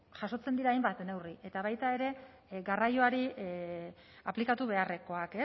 jasotzen dira hainbat neurri eta baita ere garraioari aplikatu beharrekoak